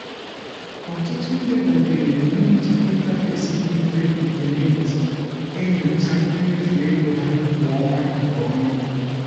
ọtụtụ ndị dabeere n'iji interface dị mfe nke mint enyochaa mmefu ego ha kwa ọnwa nke ọma.